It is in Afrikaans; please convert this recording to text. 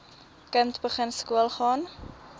kind begin skoolgaan